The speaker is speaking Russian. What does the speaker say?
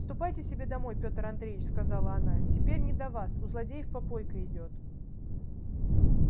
ступайте себе домой петр андреевич сказала она теперь не до вас у злодеев попойка идёт